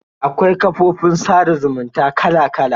Akwai kafofin sada zumunta kala kala.